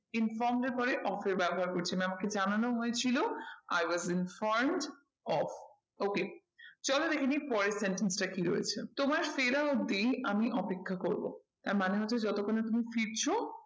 Informed এর পরে of এর ব্যবহার করছি। মানে আমাকে জানানো হয়েছিল i was informed of okay চলো দেখেনিই পরের sentence টা কি রয়েছে তোমার ফেরা অবধি আমি অপেক্ষা করবো। তার মানে হচ্ছে যতক্ষণ না তুমি ফিরছো